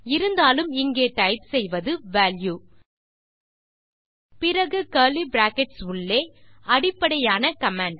இருந்தாலும் இங்கே டைப் செய்வது வால்யூ பிறகு கர்லி பிராக்கெட்ஸ் உள்ளே அடிப்படையான கமாண்ட்